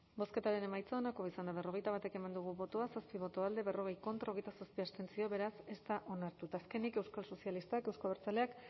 bozketaren emaitza onako izan da hirurogeita hamalau eman dugu bozka zazpi boto alde berrogei contra hogeita zazpi abstentzio beraz ez da onartu eta azkenik euskal sozialistak euzko abertzaleak